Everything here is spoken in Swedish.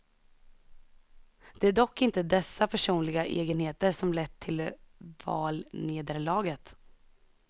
Det är dock inte dessa personliga egenheter som lett till valnederlaget.